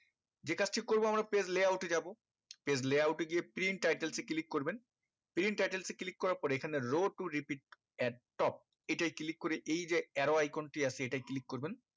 যে কাজটি করবো আমরা page layout এ যাবো page layout এ গিয়ে print title এ click করবেন print title করার পরে এই খানে row to repeat at top এটাই click করে এই যে arrow icon টি আছে এটাই click করবেন